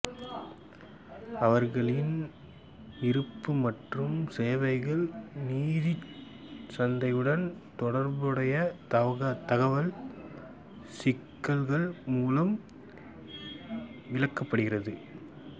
அவர்களின் இருப்பு மற்றும் சேவைகள் நிதியச் சந்தைகளுடன் தொடர்புடைய தகவல் சிக்கல்கள் மூலம் விளக்கப்படுகிறது